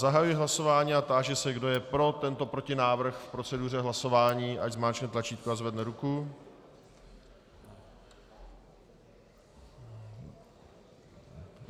Zahajuji hlasování a táži se, kdo je pro tento protinávrh v proceduře hlasování, ať zmáčkne tlačítko a zvedne ruku.